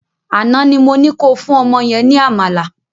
Àná ni mo ní ko fún ọmọ yẹn ní àmàlà